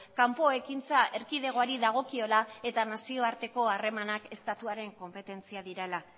kanpo ekintza erkidegoari dagokiola eta nazioarteko harremanak estatuaren konpetentzia direla